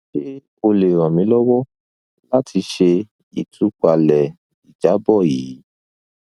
ṣe o le ran mi lọwọ lati ṣe itupalẹ ijabọ yii